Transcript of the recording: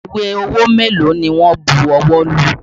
Ìwé owó mélòó ni wọn bu ọwọ́ lù?